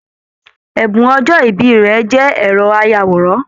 Ẹbùn ọjọ ìbí rẹ jẹ ẹrọ ayàwòrán.